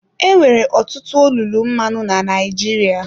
Enwere ọtụtụ olulu mmanụ na Naịjirịa.